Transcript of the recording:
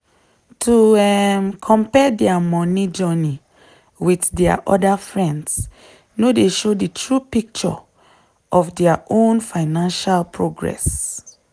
to um compare dia money journey wit dia friends no dey show di true picture of dia own financial progress.